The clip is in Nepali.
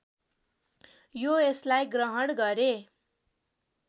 यो यसलाई ग्रहण गरे